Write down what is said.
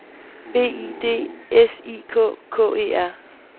B I D S I K K E R